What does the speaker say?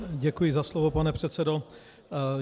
Děkuji za slovo, pane předsedo.